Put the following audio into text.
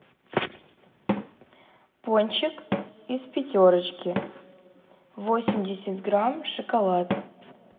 пончик из пятерочки восемьдесят грамм шоколад